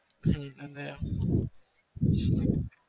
હમ અને